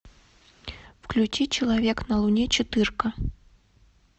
включи человек на луне четырка